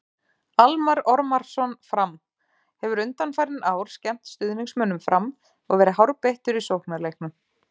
Almarr Ormarsson- Fram: Hefur undanfarin ár skemmt stuðningsmönnum Fram og verið hárbeittur í sóknarleiknum.